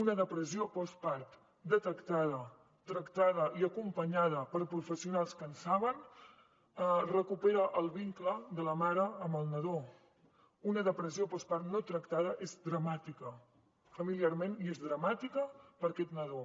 una depressió postpart detectada tractada i acompanyada per professionals que en saben recupera el vincle de la mare amb el nadó una depressió postpart no tractada és dramàtica familiarment i és dramàtica per a aquest nadó